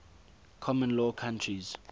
common law countries